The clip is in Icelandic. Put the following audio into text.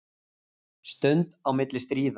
Stund á milli stríða